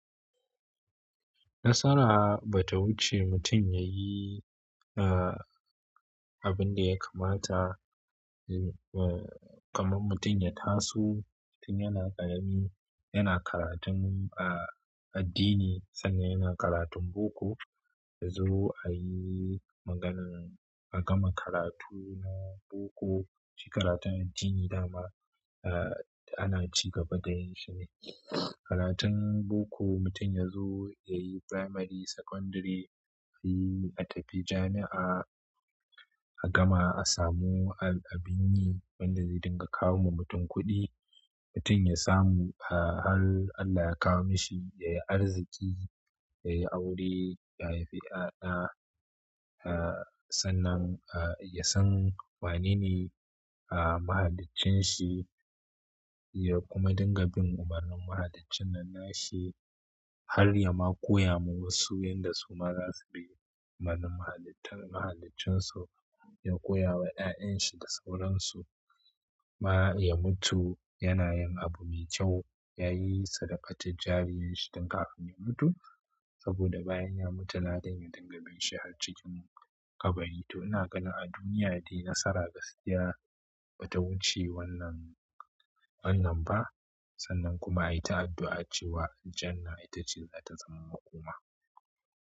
Nasara bata wuce mutum yayi abunda ya kamata ah kaman mutum ya taso tun yana ƙarami yana karatun addini sannan ƴan karatun boko yazo ayi maganan a gama karatu na boko, shi karatun addini dama, uh, ana ci gaba da yin shi ne. Karatun boko mutum yazo yayi primary, secondary, ayi a tafi jami'a, a gama a samu al- abinyi wanda zai dinga kawo ma mutum kuɗi. Mutum ya samu, uh, hal Allah ya kawo mishi, yayi arziki, yayi aure, ya haifi ya'ya, uh, sannan, uh, ya san wane ne, uh, mahaliccin shi, ya kuma dinga bin umarnin mahaliccin nan na shi. Har ya ma koya ma wasu yanda su ma zasu bi umarnin mahalitar mahaliccin su, ya koya wa ya'yan shi da sauran su. Ma ya mutu yana yin abu mai kyau, yayi sadaka tul jariyan shi tun kafin ya mutu, saboda bayan ya mutu ladan ya dinga bin shi har cikin kabari. To ina ganin a duniya dai nasara gaskiya ba ta wuce wannan, wannan ba. Sannan kuma ai ta addu'a cewa jannah ita ce zata zama hukuma.